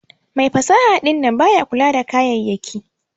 Mai fasaha dinnan baya kula da kayayaki.